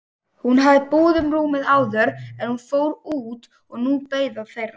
Hún hafði búið um rúmið áður en hún fór út og nú beið það þeirra.